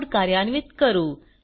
code कार्यान्वित करू